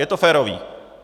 Je to férové.